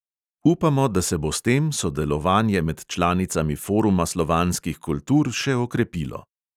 Upamo, da se bo s tem sodelovanje med članicami foruma slovanskih kultur še okrepilo.